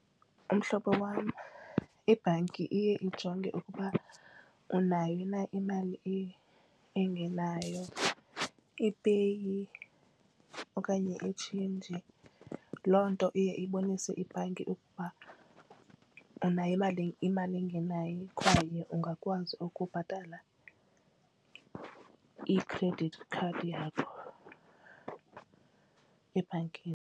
Mhlobo wam, ibhanki iye ijonge ukuba unayo na imali engenayo ipeyi okanye itshintshi. Loo nto iye ibonise ibhanki ukuba unayo imali imali engenayo kwaye ungakwazi ukubhatala i-credit card yakho ebhankini.